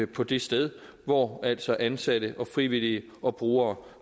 på det sted hvor altså ansatte og frivillige og brugere